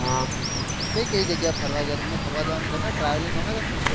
કઈ કઈ જગ્યા એ ફરવા ગયા તમે ફરવા જવાનું ગમે travelling ગમે તમે ને